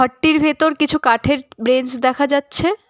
ভেতর কিছু কাঠের ব্রেঞ্চ দেখা যাচ্ছে।